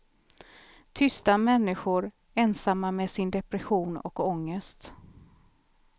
Tysta människor, ensamma med sin depression och ångest.